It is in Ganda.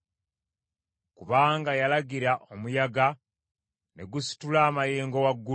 Kubanga yalagira omuyaga ne gusitula amayengo waggulu.